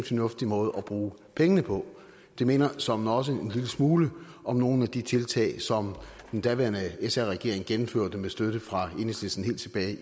fornuftig måde at bruge pengene på det minder såmænd også en lille smule om nogle af de tiltag som den daværende sr regering gennemførte med støtte fra enhedslisten helt tilbage i